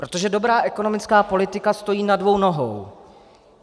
Protože dobrá ekonomická politika stojí na dvou nohou.